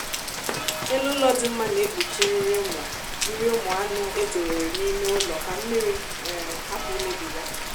elu ụlọ dị mma na-ekpuchi nri ụmụ nri ụmụ anụ edowere n'ime ụlọ ka mmiri um hapụ imebi ya